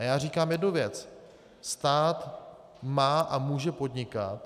A já říkám jednu věc: stát má a může podnikat.